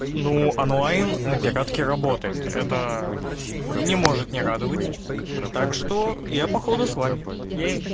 ну онлайн на пиратке работает это не может не радовать так что я походу с вами ей